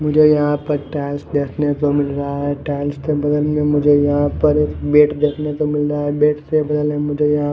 मुझे यहाँ पर टाइल्स देखने को मिल रहा है टाइल्स के बगल में मुझे यहाँ पर एक बेट देखने को मिल रा है बेट से बगल में मुझे यहाँ --